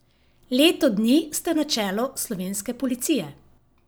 Leto dni ste na čelu slovenske policije.